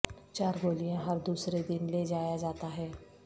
چار گولیاں ہر دوسرے دن لے جایا جاتا ہے